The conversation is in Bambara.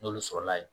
N'olu sɔrɔla yen